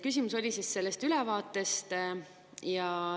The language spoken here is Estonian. Küsimus oli selle ülevaate kohta.